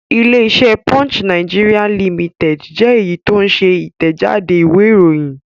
Ilé-iṣẹ́ Punch Nigeria Limited jẹ́ èyí tó ń ṣe Ìtẹ̀jáde ìwé-ìròyìn.